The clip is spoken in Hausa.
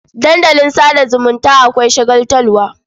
Dandalin sa da zumunta akwai shagaltarwa.